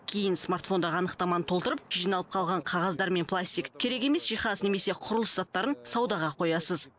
кейін смартфондағы анықтаманы толтырып жиналып қалған қағаздар мен пластик керек емес жиһаз немесе құрылыс заттарын саудаға қоясыз